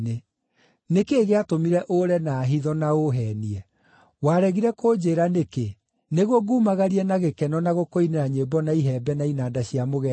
Nĩ kĩĩ gĩatũmire ũre na hitho, na ũũheenie? Waregire kũnjĩĩra nĩkĩ, nĩguo ngumagarie na gĩkeno na gũkũinĩra nyĩmbo na ihembe na inanda cia mũgeeto?